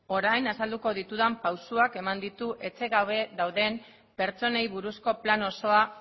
orain azalduko ditudan pausuak eman ditu etxe gabe dauden pertsonei buruzko plan osoa